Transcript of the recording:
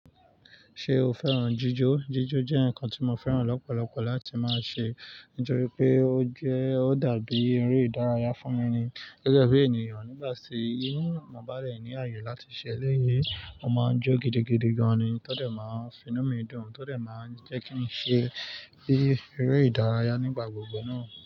Ṣé o fẹ́ràn jíjó? Jíjó jẹ́ nǹkan tí mo fẹ́ràn lọ́pọ̀lọpọ̀ láti máa ṣe nítorí pé ó jẹ́, ó dàbí eré ìdárayá fún mi ni. Gẹ́gẹ́ bí ènìyàn nígbà tí inú mo bá rdẹ̀ ní ààyè láti ṣe eléyìí, mo máa ń jó gidigidi gan ni. Tó dé máa ń finú mi dùn, tó dé máa ń jẹ́ kí n ṣe bí eré ìdárayá nígbà gbogbo náà.